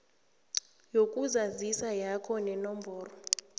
yokuzazisa yakho nenomboro